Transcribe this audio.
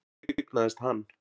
Hún eignaðist hann.